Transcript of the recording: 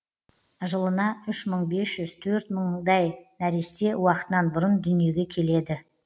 жылына үш мың бес жүз төрт мыңдай нәресте уақытынан бұрын дүниеге келеді